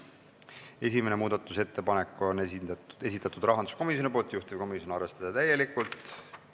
Esimese muudatusettepaneku on esitanud rahanduskomisjon, juhtivkomisjon: arvestada täielikult.